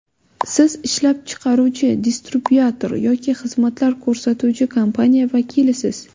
Siz ishlab chiqaruvchi, distribyutor yoki xizmatlar ko‘rsatuvchi kompaniya vakilisiz.